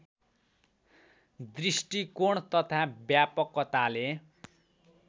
दृष्टिकोण तथा व्यापकताले